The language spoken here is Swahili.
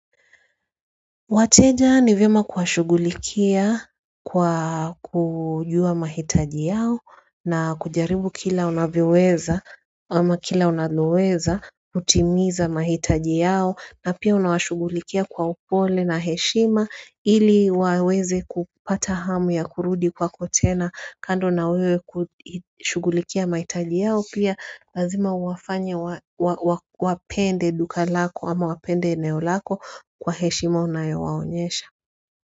Wateja ni vyema kuwashughulikia kwa kujua mahitaji yao na kujaribu kila unavyoweza ama kila unaloweza kutimiza mahitaji yao na pia unawashughulikia kwa upole na heshima ili waweze kupata hamu ya kurudi kwako tena kando na wewe kushughulikia mahitaji yao pia lazima huwafanye wapende duka lako ama wapende eneo lako kwa heshima unayowaonyesha.